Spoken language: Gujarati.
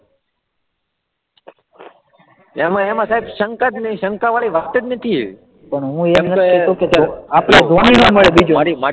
એમાં એમાં સાહેબ શંકા જ નહીં, શંકાવાળી વાત જ નથી પણ હું એમ કહેતો કે બીજું, મારી મારી,